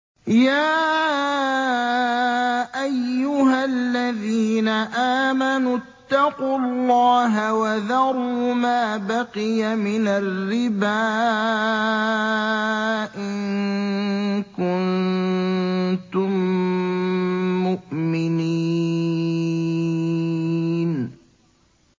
يَا أَيُّهَا الَّذِينَ آمَنُوا اتَّقُوا اللَّهَ وَذَرُوا مَا بَقِيَ مِنَ الرِّبَا إِن كُنتُم مُّؤْمِنِينَ